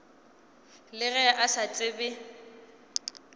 le ge a sa tsebe